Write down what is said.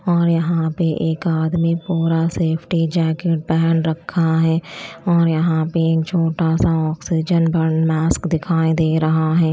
और यहां पर एक आदमी पूरा सेफ्टी जैकेट पहन रखा है। और यहां पे एक छोटा सा ऑक्सीजन मास्क दिखाई दे रहा है।